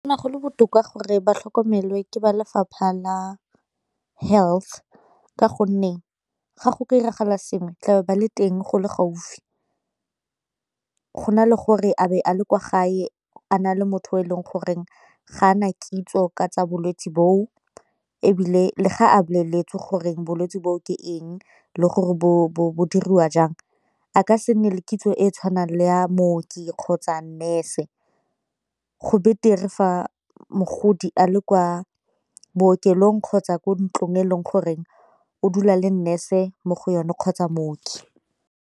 go le botoka gore ba tlhokomelwe ke ba lefapha la health ka gonne ga go ka diragala sengwe tlabe ba le teng go le gaufi, go na le gore a be a le kwa gae a na le motho e leng gore ga na kitso ka tsa bolwetse bo o, ebile le ga a boleletse gore bolwetsi boo ke eng le gore bo bo bo dirwa jang a ka se nne le kitso e e tshwanang le ya mooki kgotsa nurse, go betere fa mogodi a le kwa bookelong kgotsa ko ntlong e leng gore o dula le nurse e mo go yone kgotsa mooki.